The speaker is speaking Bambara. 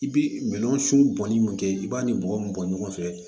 I bi minɛn sun bɔnni mun kɛ i b'a ni mɔgɔ min bɔ ɲɔgɔn fɛ